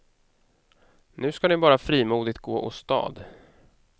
Nu ska ni bara frimodigt gå åstad.